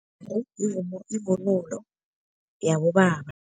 Yivunulo yabobaba.